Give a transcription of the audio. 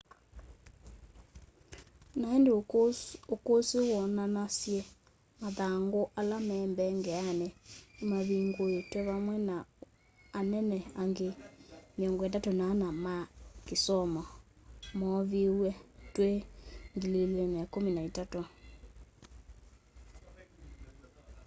na indi ukusi woonanasye mathangu ala ma mbeangeni nimavinguitwe vamwe na anene angi 34 ma kisomo mooviwe twi 2013